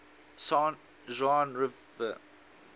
san juan river